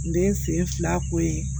N bɛ n sen fila ko ye